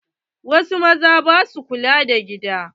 Wasu mazan ba sua kula da gida.